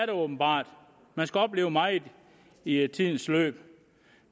det åbenbart man skal opleve meget i i tidens løb